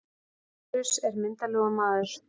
Lárus er myndarlegur maður.